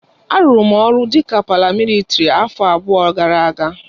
A rụrụ m ọrụ dika paramịlitrị afọ abụọ gara aga.